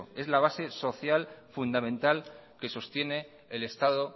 es la base social y fundamental que sostiene el estado